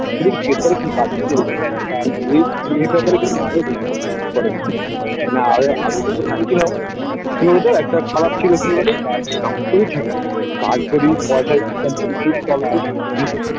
ঠিক আছে জিগেস করো কি কাজ এই এটা করে কিন্তু মাইনে না এবার আগে যেহেতু ছিল সে ও তো একটা খারাপ ছিল কি বলতো stock পুরো ঠিক আছে কাজ পয়সায়